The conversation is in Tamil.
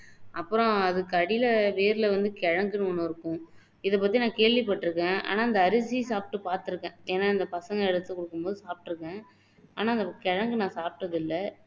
அப்பறம் அதுக்கு அடியில வேர்ல வந்து கிழங்குன்னு ஒண்ணு இருக்கும் இதை பத்தி நான் கேள்விப்பட்டுருக்கேன் ஆனா அந்த அரிசி சப்பிட்டு பாத்துருக்கேன் ஏன்னா இந்த பசங்க எடுத்து கொடுக்கும் போது சாப்பிட்டு இருக்கேன் ஆனா அந்த கிழங்கு நான் சாப்பிட்டது இல்ல